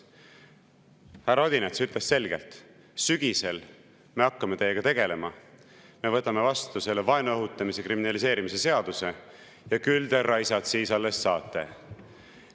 Härra Odinets ütles selgelt, et sügisel me hakkame teiega tegelema, me võtame vastu selle vaenu õhutamise kriminaliseerimise seaduse ja küll te, raisad, siis alles saate!